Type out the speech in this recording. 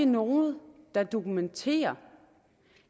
nogen der dokumenterer